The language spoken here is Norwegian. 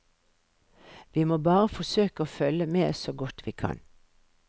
Vi må bare forsøke å følge med så godt vi kan.